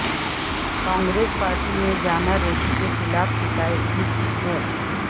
Congress party میں جانا ریڈی کے خلاف شکایت بھی کی ہے